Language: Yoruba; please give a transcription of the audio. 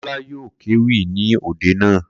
Kola yóò kéwì ní òde naa